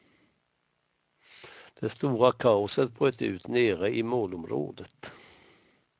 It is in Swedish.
Det stora kaoset bröt ut nere i målområdet.